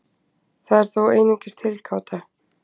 Það er þó einungis tilgáta.